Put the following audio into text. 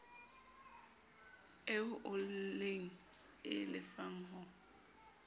eo o e lefang ho